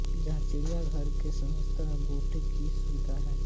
जहां चिड़ियाघर के समानांतर बोटिंग की सुविधा है